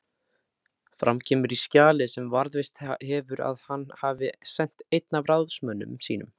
Fram kemur í skjali sem varðveist hefur að hann hafi sent einn af ráðsmönnum sínum